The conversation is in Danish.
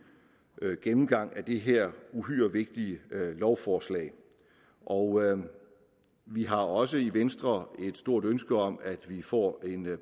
gennemgang af det her uhyre vigtige lovforslag og vi har også i venstre et stort ønske om at vi får en